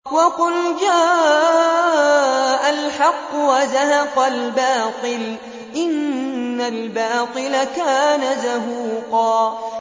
وَقُلْ جَاءَ الْحَقُّ وَزَهَقَ الْبَاطِلُ ۚ إِنَّ الْبَاطِلَ كَانَ زَهُوقًا